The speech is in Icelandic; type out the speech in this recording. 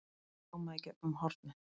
hljómaði í gegnum hornið.